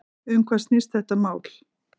Um hvað snýst þetta mál?